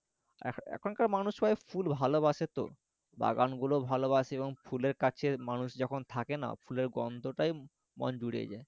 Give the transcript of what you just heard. এখনকার মানুষ সবাই ফুল ভালবাসে তো এবং বাগানগুলোও ভালবাসে এবং ফুলের কাছে মানুষ যখন থাকে না ফুলের গন্ধটায় মন জুড়িয়ে যায়